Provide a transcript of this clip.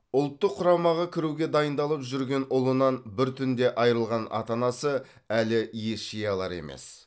ұлттық құрамаға кіруге дайындалып жүрген ұлынан бір түнде айырылған ата анасы әлі ес жия алар емес